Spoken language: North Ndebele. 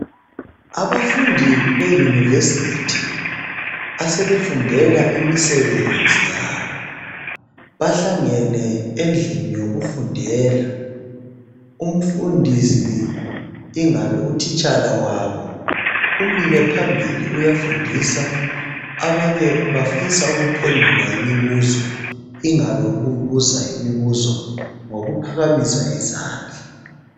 Abafundi beyunivesithi. Asebefundela imisebenzi yabo bahlangene endlini yokufundela. Umfundisi ingabe utitshala wabo umile phambili uyafundisa abanye bafisa ukuphendula imibuzo ingabe ukubuza imibuzo ngokuphakamisa izandla.